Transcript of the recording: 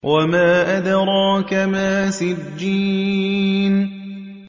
وَمَا أَدْرَاكَ مَا سِجِّينٌ